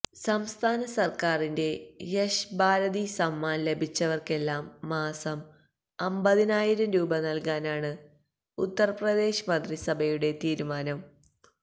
സംസ്ഥാന സര്ക്കാരിന്റെ യശ് ഭാരതി സമ്മാന് ലഭിച്ചവര്ക്കെല്ലാം മാസം അമ്പതിനായിരം രൂപ നല്കാനാണ് ഉത്തര് പ്രദേശ് മന്ത്രിസഭയുടെ തീരുമാനം